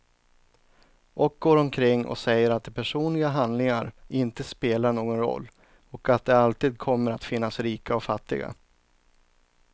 Och går omkring och säger att personliga handlingar inte spelar någon roll, och att det alltid kommer att finnas rika och fattiga.